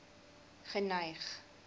geneig